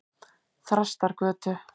Þrastargötu